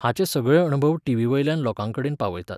हाचे सगळे अणभव टीवीवयल्यान लोकांकडेन पावयतात.